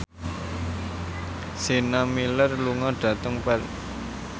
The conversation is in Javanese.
Sienna Miller lunga dhateng Perth